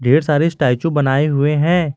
ढेर सारे स्टैचू बनाए हुए हैं।